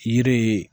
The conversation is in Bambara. Yiri ye